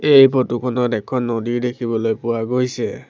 এই ফটো খনত এখন নদী দেখিবলৈ পোৱা গৈছে।